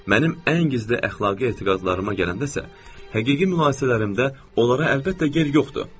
Mənim ən gizli əxlaqi etiqadlarıma gələndə isə, həqiqi mübahisələrimdə onlara əlbəttə yer yoxdur.